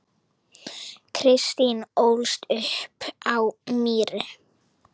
Kristín ólst upp á Mýri.